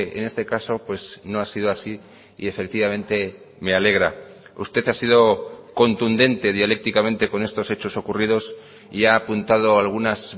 en este caso pues no ha sido así y efectivamente me alegra usted ha sido contundente dialécticamente con estos hechos ocurridos y ha apuntado algunas